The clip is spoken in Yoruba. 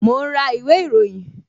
Mo ń ra ìwé ìròyìn